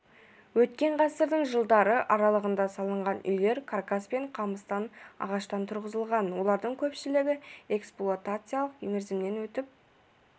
өткен ғасырдың жылдары аралығында салынған үйлер каркас пен қамыстан ағаштан тұрғызылған олардың көпшілігі эксплуатациялық мерзімінен өтіп